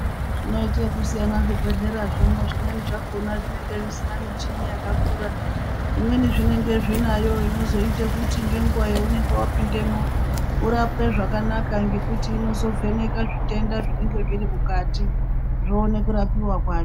Zvinoite kusiyana zvibhedhlera, zvimweni zvakona zvinenge zvisina michini yakakura, zvimweni zvinenge zvinayo inozoite kuti nenguva yaunenge wapindemo urapwe zvakanaka ngekuti inozovheneka zvitenda zvinenge zviri mukati yowone kurapiwa kwayo.